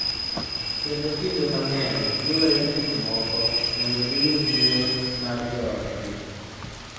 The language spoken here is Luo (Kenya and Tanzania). Kendo kinde mang�eny, giweyo gik moko mondo giyud luor mar joodgi.